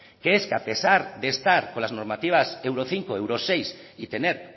que es que a pesar de estar con las normativas euro cinco euro seis y tener